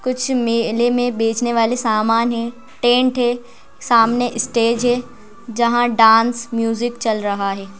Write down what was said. कुछ मेले में बेचने वाले सामान हैं टेंट है सामने स्टेज है जहां डांस म्यूजिक चल रहा है।